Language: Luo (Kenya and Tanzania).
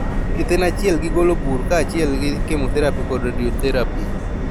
Thieth en achiel gi golo bur kachiel gi chemotherapy kod radiotherapy